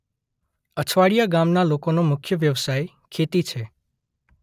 અછવાડીયા ગામના લોકોનો મુખ્ય વ્યવસાય ખેતી છે.